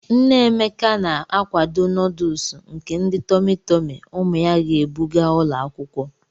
Nne Emeka na-akwado nọdụlsụ nke ndi tọmị tọmị ụmụ ya ga-ebu gaa ụlọ akwụkwọ.